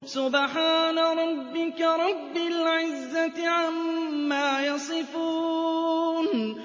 سُبْحَانَ رَبِّكَ رَبِّ الْعِزَّةِ عَمَّا يَصِفُونَ